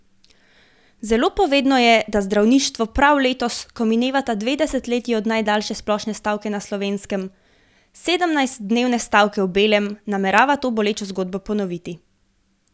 Zelo povedno je, da zdravništvo prav letos, ko minevata dve desetletji od najdaljše splošne stavke na Slovenskem, sedemnajstdnevne stavke v belem, namerava to bolečo zgodbo ponoviti.